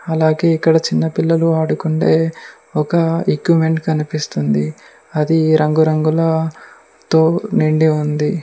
అలాగే ఇక్కడ చిన్న పిల్లలు ఆడుకుండే ఒక ఎక్వెంట్ కనిపిస్తుంది అది ఈ రంగు రంగుల తో నిండి ఉంది.